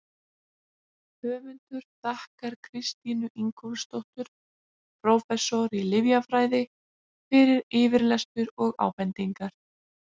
Höfundur þakkar Kristínu Ingólfsdóttur, prófessor í lyfjafræði, fyrir yfirlestur og ábendingar.